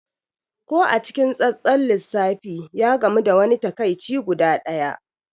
Ko a cikin tsantsar lissafi, ya gamu da wani takaici guda ɗaya.